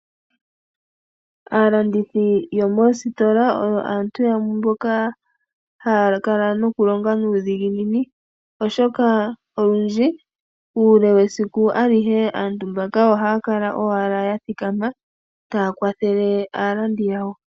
Aalandithi yomoositola oyo aantu yamwe mboka haya kala noku longa nuudhiginini oshoka olundji uule wesiku alihe aantu mbaka ohaya kala owala ya thikama taya kwathele aalandi yawo.